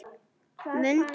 MUNDU MIG!